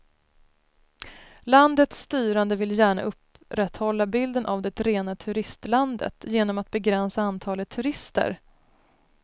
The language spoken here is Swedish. Landets styrande vill gärna upprätthålla bilden av det rena turistlandet genom att begränsa antalet turister.